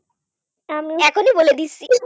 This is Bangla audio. , এখনই বলে দিচ্ছি